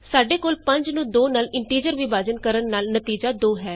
ਸਾਡੇ ਕੋਲ 5 ਨੂੰ 2 ਨਾਲ ਇੰਟੀਜ਼ਰ ਵਿਭਾਜਨ ਕਰਨ ਨਾਲ ਨਤੀਜਾ 2 ਹੈ